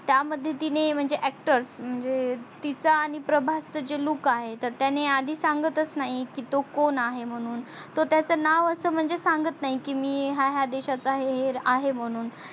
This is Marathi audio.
त्या मध्ये तिने म्हणजे actor म्हणजे तिचा आणि प्रभासचा जो look आहे त्याने आधी सांगतच नाही की तो कोण आहे म्हणून तो त्याच नाव अस म्हणजे सांगत नाही की मी हाय हाय देशचा हे हे आहे म्हणून